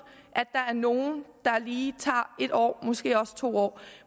at der er nogle der lige tager en år måske også to år